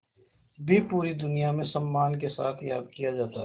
भी पूरी दुनिया में सम्मान के साथ याद किया जाता है